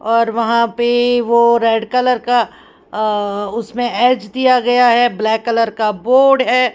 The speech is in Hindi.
और वहां पे वो रेड कलर का उसमें एज दिया गया है ब्लैक कलर का बोर्ड है।